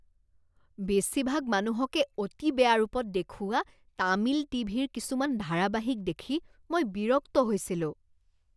বেছিভাগ মানুহকে অতি বেয়া ৰূপত দেখুওৱা তামিল টিভিৰ কিছুমান ধাৰাবাহিক দেখি মই বিৰক্ত হৈছিলোঁ।